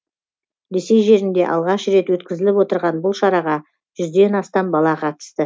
ресей жерінде алғаш рет өткізіліп отырған бұл шараға жүзден астам бала қатысты